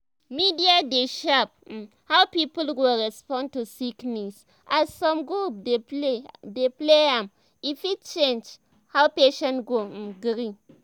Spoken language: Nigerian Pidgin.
media dey shape um how people go respond to sickness as some group dey play am e fit change um how patient go um gree.